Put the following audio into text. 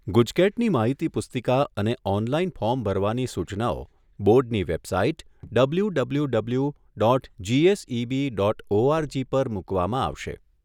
ગુજકેટની માહિતી પુસ્તિકા અને ઓનલાઇન ફોર્મ ભરવાની સૂચનાઓ બોર્ડની website W W W dot GSEB dot ORG પર મુકવામાં આવશે.